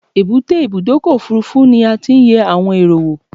Èbúté Ibùdọ́kọ̀ òfurufú ni a ti n yẹ àwon èrò wo